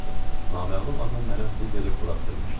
Naməlum adam mənə pul verib buraxdırmışdı.